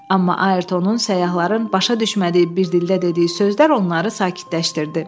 Amma Ayrtonun səyyahların başa düşmədiyi bir dildə dediyi sözlər onları sakitləşdirdi.